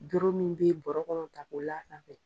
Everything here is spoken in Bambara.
Doro min bɛ bɔrɔkɔnɔ ta ko la sanfɛ.